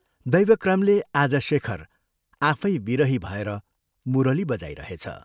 दैवक्रमले आज शेखर आफै विरही भएर मुरली बजाइरहेछ।